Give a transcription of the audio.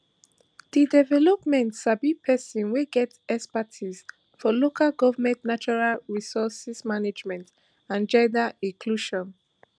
di development sabi pesin wey get expertise for local goment natural resource management and gender inclusion